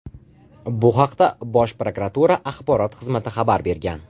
Bu haqda Bosh prokuratura Axborot xizmati xabar bergan.